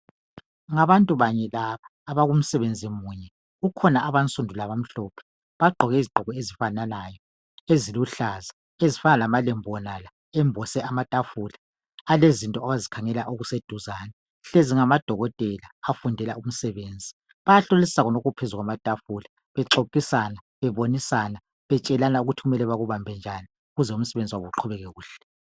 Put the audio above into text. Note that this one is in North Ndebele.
Ngabantu banye laba abakumsebenzi munye. Kukhona abansundu labamhlophe. Bagqoke izgqoko ezifananayo eziluhlaza ezifana lamalembu wona la embose amatafula alezinto abazikhangela okuseduzane. Hlezi ngamadokotela afundela umsebenzi. Bayahlolisisa khonokho okuphezu kwamatafula bexoxisana bebonisana betshelana ukuthi kumele bakubambe njani ukuze umsebenzi wabo uqhubeke kuhle.